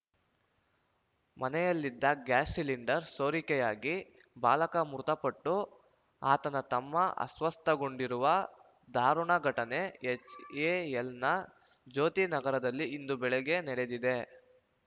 ಮನೆಯಲ್ಲಿದ್ದ gas cylinder ಸೋರಿಕೆಯಾಗಿ ಬಾಲಕ ಮೃತಪಟ್ಟು ಆತನ ತಮ್ಮ ಅಸ್ವಸ್ಥಗೊಂಡಿರುವ ಧಾರುಣ ಘಟನೆ ಹೆಚ್‌ಎ‌ಎಲ್‌ನ ಜ್ಯೋತಿ ನಗರದಲ್ಲಿ ಇಂದು ಬೆಳಿಗ್ಗೆ ನಡೆದಿದೆ